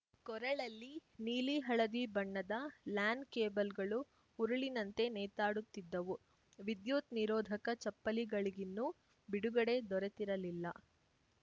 ಕೊರಳಲ್ಲಿ ನೀಲಿ ಹಳದಿ ಬಣ್ಣದ ಲ್ಯಾನ್‌ ಕೇಬಲ್‌ ಗಳು ಉರುಳಿನಂತೆ ನೇತಾಡುತ್ತಿದ್ದವು ವಿದ್ಯುತ್‌ ನಿರೋಧಕ ಚಪ್ಪಲಿಗಳಿಗಿನ್ನೂ ಬಿಡುಗಡೆ ದೊರೆತಿರಲಿಲ್ಲ